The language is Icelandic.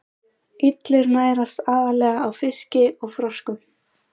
Illir nærast aðallega á fiski og froskum.